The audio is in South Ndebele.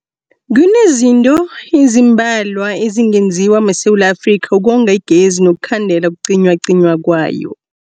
Kunezinto ezimbalwa ezingenziwa maSewula Afrika ukonga igezi nokukhandela ukucinywacinywa kwayo.